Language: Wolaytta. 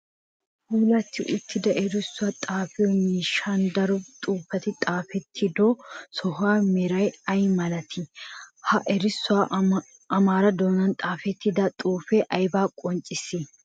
Puulati uttida erissuwaa xaafiyoo miishshan daro xuufetti xaafetido sohuwa meray ay malatti? Ha erissuwan amaara doonan xaafettida xuufe aybaa qonccissi?